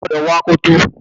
Ó gbúdọ̀ wọ akoto!